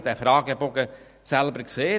Ich habe den Fragebogen selber gesehen.